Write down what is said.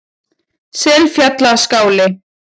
Selfjallaskála